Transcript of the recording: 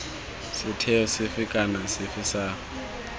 setheo sefe kana sefe sa